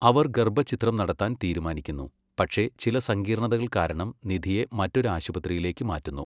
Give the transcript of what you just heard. അവർ ഗർഭച്ഛിദ്രം നടത്താൻ തീരുമാനിക്കുന്നു, പക്ഷേ ചില സങ്കീർണതകൾ കാരണം നിധിയെ മറ്റൊരു ആശുപത്രിയിലേക്ക് മാറ്റുന്നു.